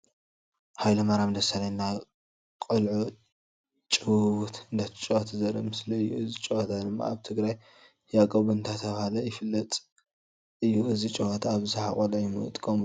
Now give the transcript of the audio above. ሃይለማርያም ደሰለኝ ናይ ቅልዑ ጭውውት እነዳተጫወተ ዘርኢ ምስሊ እዩ። እዙ ጨወታ ድማ ኣብ ትግራይ ያቆብ እንዳተባሃለ ዝፍለጥ እዩ። እዚ ጨወታ ኣብዛሓ ቆልዑ ይንቀምሉ።